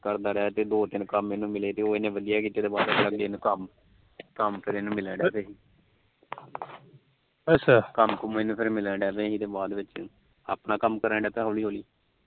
ਕਰਦਾ ਰਿਹਾ ਦੋ ਤਿੰਨ ਕੰਮ ਇਹਨੂੰ ਮਿਲੇ ਉਹ ਇਹਨੇ ਵਧੀਆਂ ਕੀਤੇ ਤੇ ਕੰਮ ਕੰਮ ਫਿਰ ਇਹਨੂੰ ਮਿਲਣ ਲੱਗ ਪੇ ਅੱਛਾ ਕੰਮ ਕੁਮ ਇਹਨੂੰ ਮਿਲਣ ਲੱਗ ਪੇ ਫਿਰ ਆਪਣਾ ਕੰਮ ਕਰਨ ਲੱਗ ਪਿਆ ਹੋਲੀ ਹੋਲੀ